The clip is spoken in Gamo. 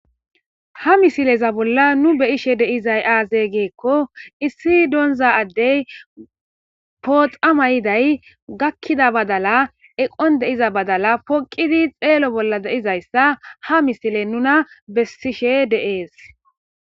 Ha misileza bolla nu beyishe deizay aaze geekko issi doonza addey pooxama yiday gakkida badala eqon deiza badala poqidi xeelo bolla deizayssa ha misile nuna bsishe de'es